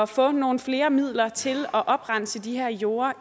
få nogle flere midler til at oprense de her jorder